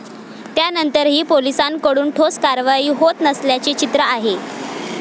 त्यानंतरही पोलिसांकडून ठोस कारवाई होत नसल्याचे चित्र आहे.